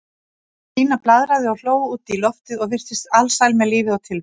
Stína blaðraði og hló út í loftið og virtist alsæl með lífið og tilveruna.